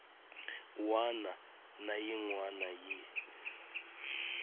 wana na yin wana yi